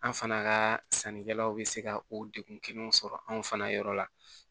An fana ka sannikɛlaw bɛ se ka o degun kelen sɔrɔ anw fana yɔrɔ la